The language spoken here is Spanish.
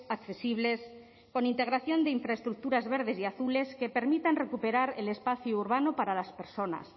accesibles con integración de infraestructuras verdes y azules que permitan recuperar el espacio urbano para las personas